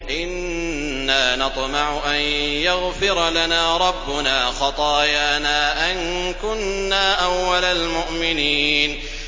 إِنَّا نَطْمَعُ أَن يَغْفِرَ لَنَا رَبُّنَا خَطَايَانَا أَن كُنَّا أَوَّلَ الْمُؤْمِنِينَ